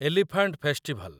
elephant festival